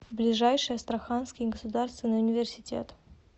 ближайший астраханский государственный университет